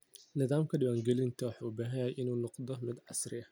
Nidaamka diiwaangelinta wuxuu u baahan yahay inuu noqdo mid casri ah.